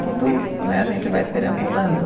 Tudo né, a gente vai perambulando.